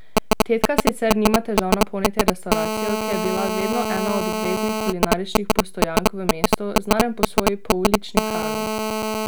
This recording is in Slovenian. Tetka sicer nima težav napolniti restavracijo, ki je bila vedno ena od obveznih kulinaričnih postojank v mestu, znanem po svoji poulični hrani.